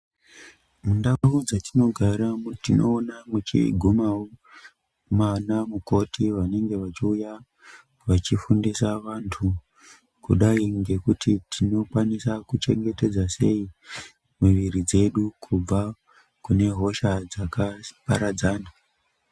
Mundau dzetinogara tinoona muchigumawo vana mukoti vanenge vachiuya vachifundisa vantu kudai ngekuti tinokwanisa kuchengetedza sei muviri yedu kubva kunehosha dzakaparadzana.